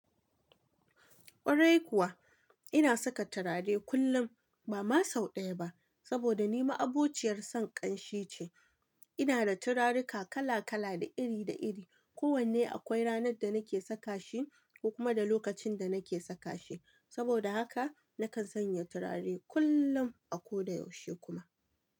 Kwarai kuwa, ina saka turare kullum ba ma sau ɗaya ba saboda ni ma'abociyar son ƙanshi ce. Ina da turaruka kala kala da iri da iri. Ko wanne akwai ranar da nake saka shi kuma da lokacin da nake saka shi. Saboda haka nakan sanya turare kullum a ko da yaushe kuma.